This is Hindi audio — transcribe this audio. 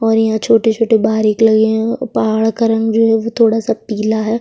और यहाँ छोटे-छोटे बाहरिक लगे है पहाड़ का रंग जो है वो थोड़ा सा पिला है।